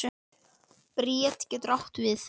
Bríet getur átt við